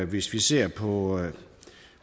hvis vi ser på